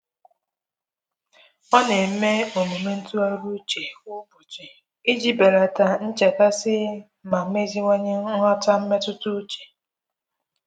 Ọ na-eme omume ntụgharị uche kwa ụbọchị iji belata nchekasị ma meziwanye nhata mmetụta uche.